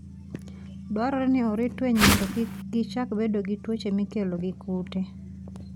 Dwarore ni orit winy mondo kik gichak bedo gi tuoche mikelo gi kute.